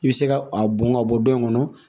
I bɛ se ka a bɔn ka bɔ yen kɔnɔ